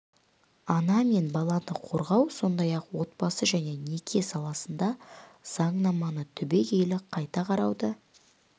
ана мен баланы қорғау сондай-ақ отбасы және неке саласында заңнаманы түбегейлі қайта қарауды